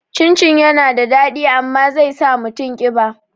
Cin cin yana da daɗi amma zai sa mutum ƙiba